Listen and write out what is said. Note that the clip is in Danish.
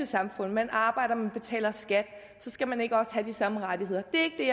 samfund man arbejder man betaler skat så skal man ikke også have de samme rettigheder det er